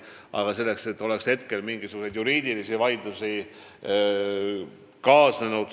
Aga ma ei tea, et sellega oleks mingeid juriidilisi vaidlusi kaasnenud.